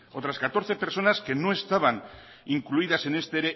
otras catorce personas que no estaban incluidas en este